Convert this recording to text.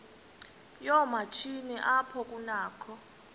yoomatshini apho kunakho